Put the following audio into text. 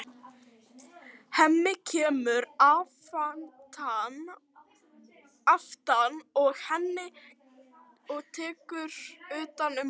Hemmi kemur aftan að henni og tekur utan um hana.